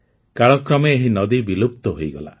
କାଳକ୍ରମେ ଏହି ନଦୀ ବିଲୁପ୍ତ ହୋଇଗଲା